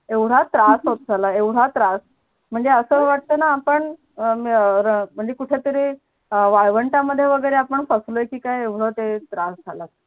येवडा त्रास होत झाला येवडा त्रास म्हणजे असं वाटतं ना आपण म्हणजे कुठेतरी वाळवंटामध्ये वगैरे आपण फसलो की काय येवड ते त्रास झाला